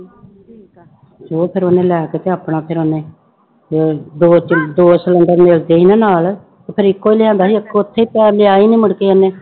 ਤੇ ਉਹ ਫਿਰ ਉਹਨੇ ਲੈ ਕੇ ਤੇ ਆਪਣਾ ਫਿਰ ਉਹਨੇ ਦੋ ਦੋ ਚੁੱ ਦੋ ਸਿਲੈਂਡਰ ਮਿਲਦੇ ਸੀ ਨਾ ਨਾਲ ਤੇ ਫਿਰ ਇੱਕੋ ਹੀ ਲਿਆਂਦਾ ਸੀ ਇੱਕ ਉੱਥੇ ਹੀ ਪਿਆ ਲਿਆ ਹੀ ਨੀ ਮੁੜਕੇ ਇਹਨੇ।